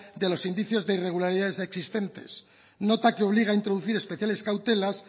de los indicios de irregularidades existentes nota que obliga a introducir especiales cautelas